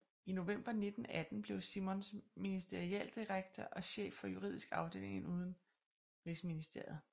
I november 1918 blev Simons Ministerialdirektor og chef for juridisk afdeling i udenrigsministeriet